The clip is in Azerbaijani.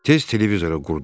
Tez televizora qurdu.